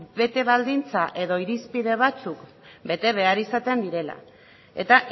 bete baldintza edo irizpide batzuk bete behar izaten direla eta